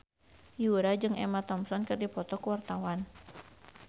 Yura jeung Emma Thompson keur dipoto ku wartawan